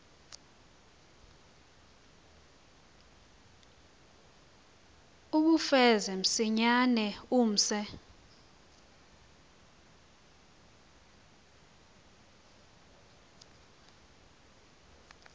uwufeze msinyane umse